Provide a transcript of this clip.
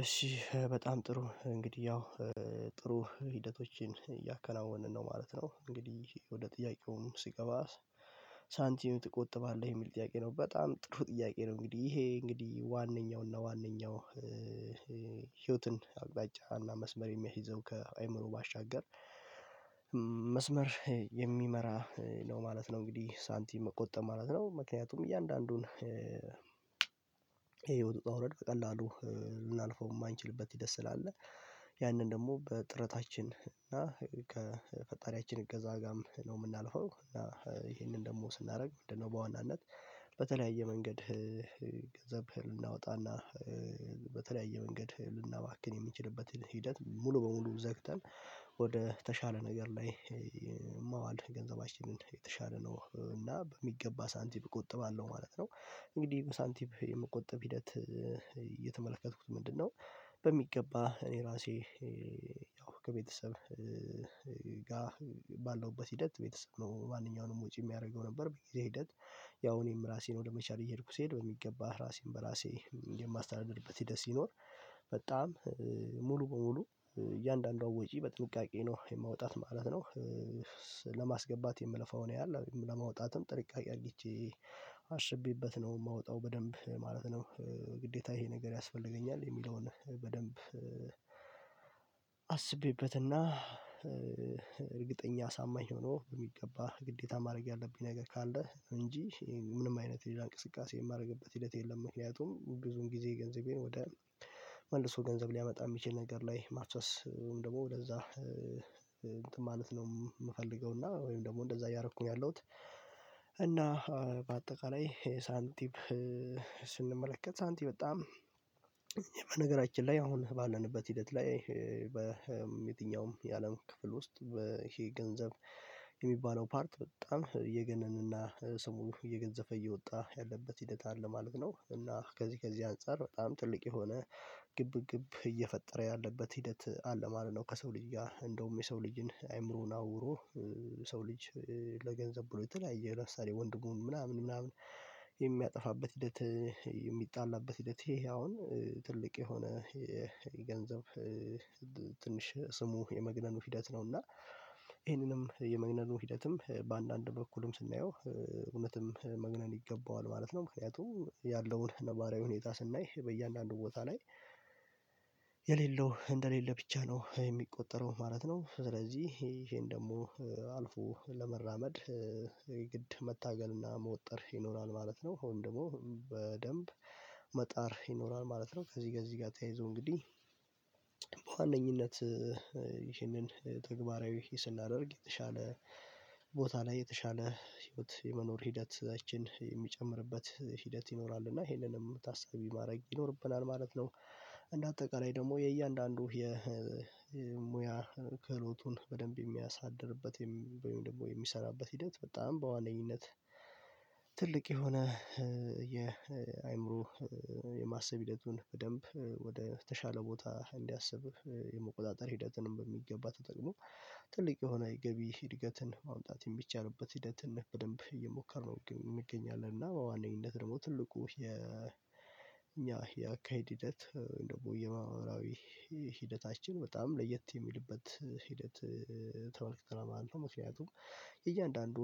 እሺ በጣም ጥሩ እንግዲህ ያው ጥሩ ሂደቶችን እያከናወንን ነው ማለት ነው እንግዲህ ወደ ጥያቄውም ስገባ። ሳንቲም ትቆጥባለህ የሚል ጥያቄ ነው በጣም ጥሩ ጥያቄ ነው። እንግዲህ ይሄ እንግዲህ ዋነኛውና ዋነኛው ህይወትን አቅጣጫ እና መስመር የሚያስይዘው ከአእምሮ ባሻገር። መስመር የሚመራ ነው ማለት ነው እንግዲህ ሳንቲም መቆጠብ ማለት ነው። ምክንያቱም እያንዳንዱን የህይወት ውጣ ውረድ በቀላሉ ልናልፈው የማንችልበት ጊዜ ስላለ ያንን ደግሞ በጥረታችን እና ከፈጣሪያችን እገዛ ጋርም ነው የምናልፈው እና ይሄንን ደግሞ ስናደርግ ምንድነው? በዋናነት በተለያየ መንገድ ገንዘብ ልናወጣና በተለያየ መንገድ ልናባክን የምንችልበትን ሂደት ሙሉ በሙሉ ዘግተን ወደ ተሻለ ነገር ላይ ማዋል ገንዘባችንን የተሻለ ነው እና በሚገባ ሳንቲም እቆጥባለሁ ማለት ነው። እንግዲህ ሳንቲም የመቆጠብ ሂደት የተመለከትኩት ምንድነው? በሚገባ እኔ ራሴ ያው ከቤተሰብ ጋር ባለሁበት ሂደት ቤተሰብ ነው ማንኛውንም ወጪ የሚያደርገው ነበር በጊዜ ሂደት። ያው እኔም ራሴን ወደ መቻል እየሄድኩ ስሄድ በሚገባ ራሴን በራሴ እንግዲህ የማስተዳደርበት ሂደት ሲኖር በጣም ሙሉ በሙሉ እያንዳንዷ ወጪ በጥንቃቄ ነው የማወጣት ማለት ነው። ለማስገባት የምለፋውን ያህል ለማውጣትም ጥንቃቄ አርጌቼ አስቤበት ነው የማወጣው በደንብ ማለት ነው። ግዴታ ይሄ ነገር ያስፈልገኛል የሚለውን በደንብ አስቤበትና እርግጠኛ አሳማኝ ሆኖ በሚገባ ግዴታ ማድረግ ያለብኝ ነገር ካለ እንጂ ምንም አይነት የሌላ እንቅስቃሴ የማደርግበት ሂደት የለም። ምክንያቱም ብዙም ጊዜ ገንዘቤን ወደ መልሶ ገንዘብ ሊያመጣ የሚችል ነገር ላይ ማፍሰስ ወይም ደግሞ ወደዛ እንትን ማለት ነው የምፈልገው እና ወይም ደግሞ እንደዛ እያደረኩኝ ያለሁት እና በአጠቃላይ ሳንቲም። ስንመለከት ሳንቲም በጣም በነገራችን ላይ አሁን ባለንበት ሂደት ላይ በየትኛውም የአለም ክፍል ውስጥ ይሄ ገንዘብ የሚባለው ፓርት በጣም እየገነነና ስሙ እየገዘፈ እየወጣ ያለበት ሂደት አለ ማለት ነው። እና ከዚህ ከዚህ አንፃር በጣም ትልቅ የሆነ ግብ ግብ እየፈጠረ ያለበት ሂደት አለ ማለት ነው። ከሰው ልጅ ጋር እንደውም የሰው ልጅን አይምሮውን አውሮ የሰው ልጅ ለገንዘብ ብሎ የተለያየ ለምሳሌ ወንድሙን ምናምን ምናምን የሚያጠፋበት ሂደት የሚጣላበት ሂደት ይሄ አሁን ትልቅ የሆነ የገንዘብ ትንሽ ስሙ የመግነኑ ሂደት ነው። እና ይሄንንም የመግነኑ ሂደትም በአንዳንድ በኩልም ስናየው እውነትም መግነን ይገባዋል ማለት ነው። ምክንያቱም ያለውን ነባራዊ ሁኔታ ስናይ በእያንዳንዱ ቦታ ላይ የሌለው እንደሌለ ብቻ ነው የሚቆጠረው ማለት ነው። ስለዚህ ይሄን ደግሞ አልፎ ለመራመድ የግድ መታገልና መወጠር ይኖራል ማለት ነው። ወይም ደግሞ በደንብ መጣር ይኖራል ማለት ነው። ከዚህ ጋር እዚህ ጋር ተያይዞ እንግዲህ በዋነኝነት ይህንን ተግባራዊ ስናደርግ የተሻለ ቦታ ላይ የተሻለ ህይወት የመኖር ሂደት ያችን የምንጨምርበት ሂደት ይኖራል እና ይሄንንም ታሳቢ ማድረግ ይኖርብናል ማለት ነው። እንደ አጠቃላይ ደግሞ የእያንዳንዱ የሙያ ክህሎቱን በደንብ የሚያሳድግበት ወይም ደግሞ የሚሰራበት ሂደት በጣም በዋነኝነት ትልቅ የሆነ የአእምሮ የማሰብ ሂደቱን በደንብ ወደ ተሻለ ቦታ እንዲያስብ የመቆጣጠር ሂደትንም በሚገባ ተጠቅሞ ትልቅ የሆነ የገቢ እድገትን ማምጣት የሚቻልበት ሂደት በደንብ እየሞከርን እንገኛለን እና በዋነኝነት ደግሞ ትልቁ የኛ የአካሄድ ሂደት ደግሞ የማህበራዊ ሂደታችን በጣም ለየት የሚልበት ሂደት ተመልክተናል ማለት ነው። ምክንያቱም የእያንዳንዱ